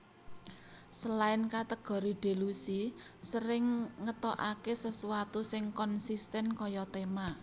Selain kategori Delusi sering ngetokake sesuatu sing konsisten kaya tema